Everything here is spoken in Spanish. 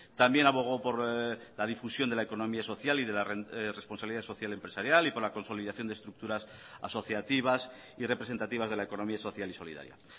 también abogó por la difusión de la economía social y de la responsabilidad social empresarial y por la consolidación de estructuras asociativas y representativas de la economía social y solidaria